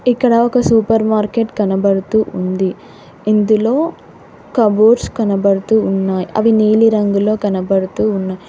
ఇక్కడ ఒక supermarket కనబడుతూ ఉంది. ఇందులో కబోర్డ్స్ కనబడుతూ ఉన్నాయి. అవి నీలిరంగులో కనబడుతూ ఉన్నాయి.